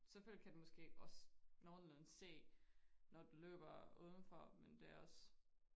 Selvfølgelig kan den måske også nogenlunde se når du løber uden for men det også